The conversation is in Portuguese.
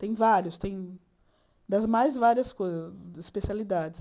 Tem vários, tem das mais várias coisas especialidades.